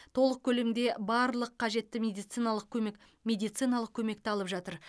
толық көлемде барлық қажетті медициналық көмек медициналық көмекті алып жатыр